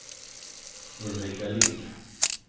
Ulrika Lindh